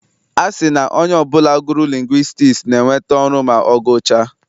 A sị na onye ọbụla gụrụ lingwistiks ga-enweta ọrụ ma ọ gụchaa.